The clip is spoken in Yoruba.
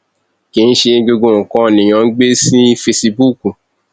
kì í ṣe gbogbo nǹkan lèèyàn ń gbé sí fesibúùkù